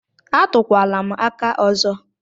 A túkwala m aka ọzọ!!